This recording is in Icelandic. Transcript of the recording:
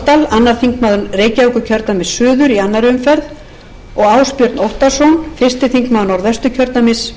annar þingmaður reykjavíkurkjördæmis suður í annarri umferð og ásbjörn óttarsson fyrsti þingmaður norðvesturkjördæmis